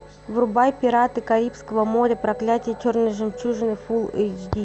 врубай пираты карибского моря проклятие черной жемчужины фулл эйч ди